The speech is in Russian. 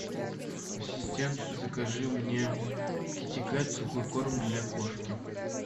ассистент закажи мне китикет сухой корм для кошки